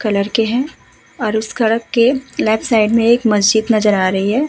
Colour के हैं और उस के लेफ्ट साइड में एक मस्जिद नजर आ रही है।